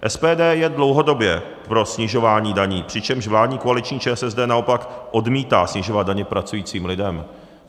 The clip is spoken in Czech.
SPD je dlouhodobě pro snižování daní, přičemž vládní koaliční ČSSD naopak odmítá snižovat daně pracujícím lidem.